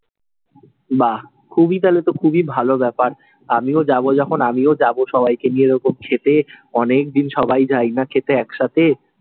বাহ, খুবই তালে তো খুবই ভালো ব্যাপার। আমিও যাব যখন আমিও যাব সবাই কে নিয়ে এরকম খেতে, অনেক দিন সবাই যাই না খেতে এক সাথে।